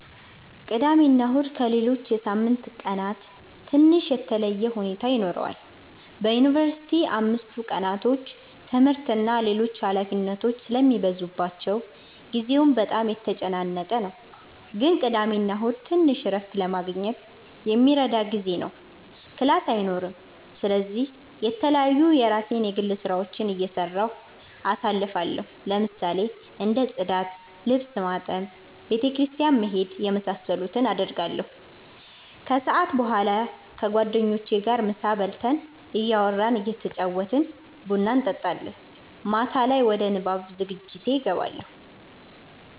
ቅዳሜና እሁድ ከሌሎች የሳምንት ቀናት ትንሽ የተለየ ሁኔታ ይኖረዋል በዩንቨርሲቲ አምስቱ ቀናቶች ትምህርት እና ሌሎች ኃላፊነቶች ስለሚበዙባቸው ጊዜው በጣም የተጨናነቀ ነው ግን ቅዳሜና እሁድ ትንሽ እረፍት ለማግኘት የሚረዳ ጊዜ ነው ክላስ አይኖርም ስለዚህ የተለያዩ የራሴን የግል ስራዎች እየሰራሁ አሳልፋለሁ ለምሳሌ እንደ ፅዳት፣ ልብስ ማጠብ፣ ቤተ ክርስቲያን መሄድ የመሳሰሉትን አረጋለሁ። ከሰዓት በኋላ ከጓደኞቼ ጋር ምሳ በልተን እያወራን እየተጫወትን ቡና እንጠጣለን። ማታ ላይ ወደ ንባብ ዝግጅቴ እገባለሁ።